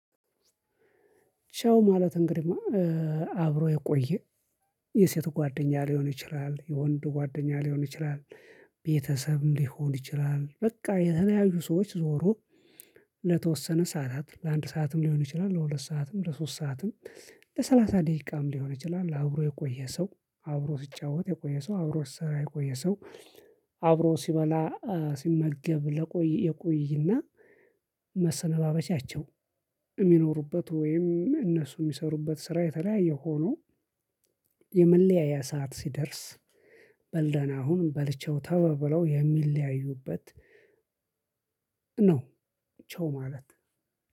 ቻው ማለት እንግዲህ አብሮ የቆየ የሴት ጓደኛ ሊሆን ይችላል የወንድ ጓደኛ ሊሆን ይችላል ቤተሰብም ሊሆን ይችላል በቃ የተለያዩ ሰዎች ዞሮ ለተወሰነ ሰዓታት ለአንድ ሰዓትም ሊሆን ይችላል ለሁለት ሰዓትም ለሶስት ሰዓትም ለሰላሳ ደቂቃም ሊሆን ይችላል አብሮ የቆየ ሰው አብሮ ሲጫወት የቆየ ሰው አብሮ ሲሰራ የቆየ ሰው አብሮ ሲበላ ሲመገብ ለቆይ ይቆይና መሰነባበቻቸው የሚኖሩበት ወይም እነሱ የሚሰሩበት ስራ የተለያየ ሆኖ የመለያየ ሰዓት ሲደርስ በል ደህና ሁን በል ቻው ተባብለው የሚለያዩበት ነው ቻው ማለት።